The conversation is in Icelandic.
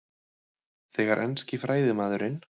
Þegar enski fræðimaðurinn